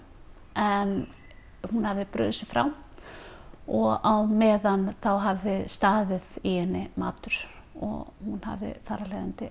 en hún hafði brugðið sér frá og á meðan hafði staðið í henni matur og hún hafði þar af leiðandi